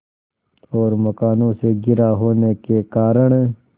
और मकानों से घिरा होने के कारण